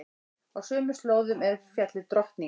Á sömu slóðum er fjallið Drottning.